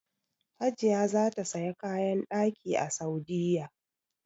Hajiya za ta saya kayan ɗaki a Saudiya